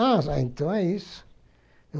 Ah, então é isso.